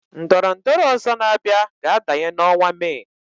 Ndọrọndorọ ọ̀zọ́ na-abịa ga adanye n'ọnwa Mee.